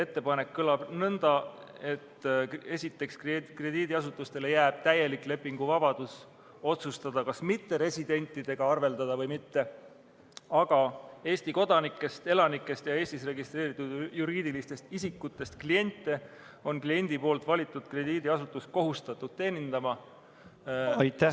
Ettepanek kõlab nõnda: esiteks, krediidiasutustele jääb täielik lepinguvabadus otsustada, kas mitteresidentidega arveldada või mitte, aga Eesti kodanikest ja elanikest ning Eestis registreeritud juriidilistest isikutest kliente on kliendi valitud krediidiasutus kohustatud teenindama.